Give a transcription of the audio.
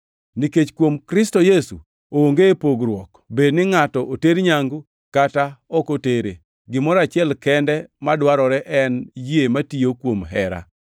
Nikech kuom Kristo Yesu onge pogruok bed ni ngʼato oter nyangu kata ok otere. Gimoro achiel kende madwarore en yie matiyo kuom hera.